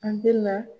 An bɛna